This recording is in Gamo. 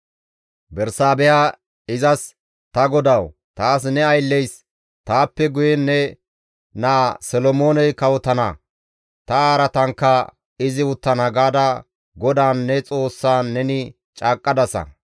Bersaabeha izas, «Ta godawu! Taas ne aylleys, ‹Taappe guyen ne naa Solomooney kawotana; ta araatankka izi uttana› gaada GODAAN, ne Xoossan neni caaqqadasa.